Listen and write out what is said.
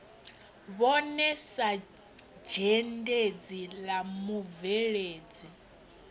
vhone sa dzhendedzi la mubveledzi